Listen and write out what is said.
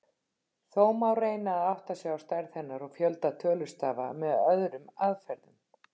Þó má reyna að átta sig á stærð hennar og fjölda tölustafa með öðrum aðferðum.